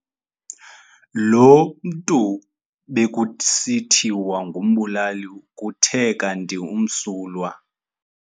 Lo mntu bekusithiwa ngumbulali kuthe kanti umsulwa.